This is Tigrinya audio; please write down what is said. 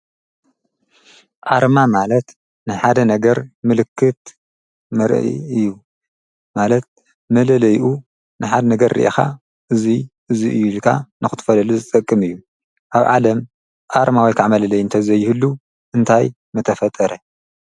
ዓርማ ማለት ንሓደ ነገር ምልክት ምርእ እዩ ማለት መለለይኡ ንሓደ ነገር ርኢኻ እዙይ እዙይ እዩ ኢልካ ነዂትፈለሉ ዝጠቅም እዩ ኣብ ዓለም ኣርማዊይ ካዕ መለለይ እንተዘይህሉ እንታይ መተፈጠረ።